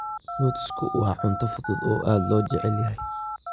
Nutsku waa cunto fudud oo aad loo jecel yahay.